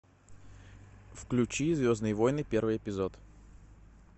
включи звездные войны первый эпизод